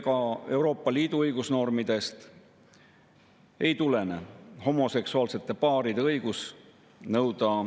On paraku tõsiasi, et Euroopa Liit on soosinud homoliikumise püüdlusi ning on ka rahvuslikele ja internatsionaalsetele, rahvusvahelistele homoliikumistele toetust avaldanud.